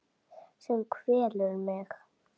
Sem kvelur mig.